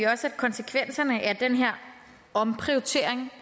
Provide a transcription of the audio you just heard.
også at konsekvenserne af den her omprioritering